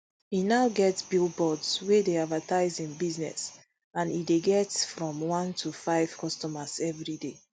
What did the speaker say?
e now get billboards wey dey advertise im business and e dey get frm one to five customers everi day